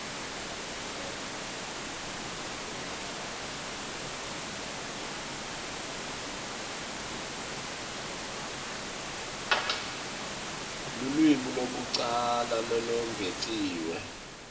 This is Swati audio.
lulwimi lwekucala lolwengetiwe